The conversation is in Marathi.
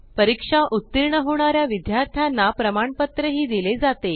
परीक्षेत उत्तीर्ण होणाऱ्या विद्यार्थ्यांना प्रमाणपत्र दिले जाते